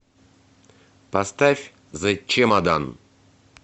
поставь зэ чемодан